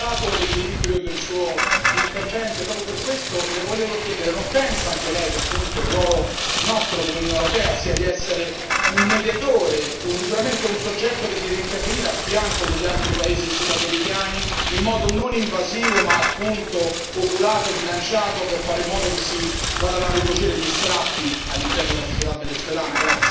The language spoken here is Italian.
Ho apprezzato l'equilibrio del suo intervento e proprio per questo le volevo chiedere non pensa anche Lei che appunto il nostro ruolo come Unione europea sia di essere un mediatore, sicuramente un soggetto che deve intervenire a fianco degli altri paesi sudamericani in modo non invasivo, ma appunto oculato e bilanciato per fare in modo che si vadano a ricucire gli strappi all'interno della società venezuelana?